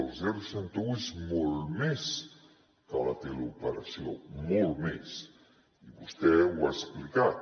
el seixanta un és molt més que la teleoperació molt més i vostè ho ha explicat